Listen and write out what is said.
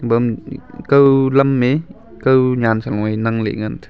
bam uh uh kaw lam e kaw nyan saloe nang lehngan.